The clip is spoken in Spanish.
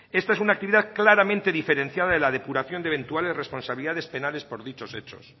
esta es una actividad claramente diferenciada de la depuración de eventuales responsabilidades penales por dichos hechos